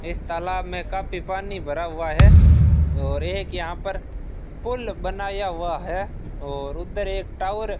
इस तालाब में काफी पानी भरा हुआ है और एक यहां पर पुल बनाया हुआ है और उधर एक टावर --